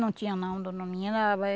Não tinha não, dona menina.